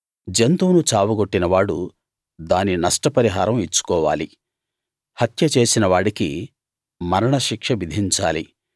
జంతువును చావగొట్టినవాడు దాని నష్టపరిహారం ఇచ్చుకోవాలి హత్య చేసినవాడికి మరణశిక్ష విధించాలి